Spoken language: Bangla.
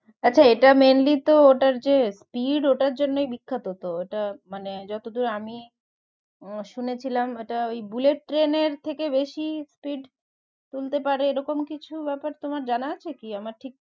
আচ্ছা এটা mainly তো ওটার যে speed ওটার জন্যই বিখ্যাত তো, এটা মানে যতদূর আমি শুনেছিলাম এটা ওই বুলেট ট্রেনের থেকে বেশি speed তুলতে পারে এরকম কিছু ব্যাপার তোমার জানা আছে কি আমার ঠিক